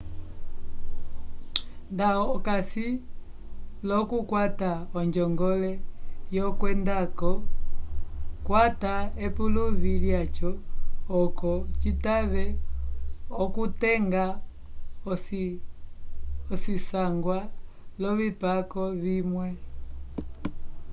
nda okasi l'okukwata onjongole yokwendañgo kwata epuluvi lyaco oco citave okutenga ocisangwa l'ovipako vimwe